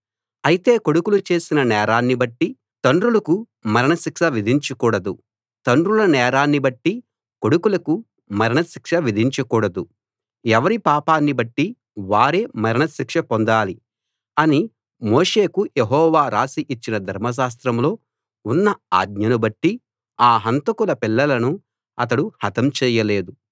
అయితే కొడుకులు చేసిన నేరాన్నిబట్టి తండ్రులకు మరణశిక్ష విధించకూడదు తండ్రుల నేరాన్నిబట్టి కొడుకులకు మరణశిక్ష విధించకూడదు ఎవరి పాపాని బట్టి వారే మరణ శిక్ష పొందాలి అని మోషేకు యెహోవా రాసి ఇచ్చిన ధర్మశాస్త్రంలో ఉన్న ఆజ్ఞను బట్టి ఆ హంతకుల పిల్లలను అతడు హతం చేయలేదు